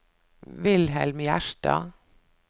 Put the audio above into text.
Wilhelm Gjerstad